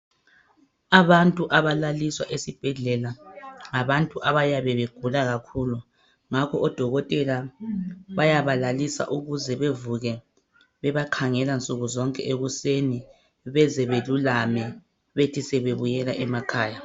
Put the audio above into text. Abantu abalaliswa esibhedlela ngabantu abagula kakhulu. Ngakho odokotela bayabalalisa ukuze bavuke bebakhangela nsukuzonke ekuseni beze belulame. Bethi sebebuyela emakhaya.